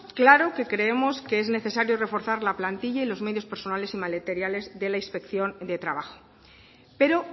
claro que creemos que es necesario reforzar la plantilla y los medios personales y materiales de la inspección de trabajo pero